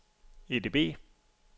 EDB